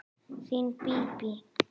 Þín Bíbí.